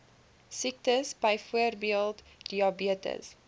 siektes byvoorbeeld diabetes